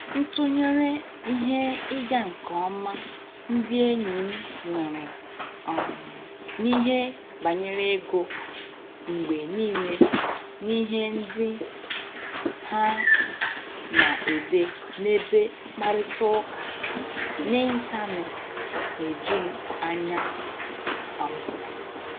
Ntụnyere ihe ịga nke ọma ndị enyi m nwere um n'ihe banyere ego mgbe nile n'ihe ndị ha na-ede n'ebe mkparịta ụka n'Intanet na-eju m anya. um